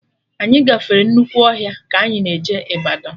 Anyị gafere nnukwu ọhịa ka anyị na-eje Ịbadọ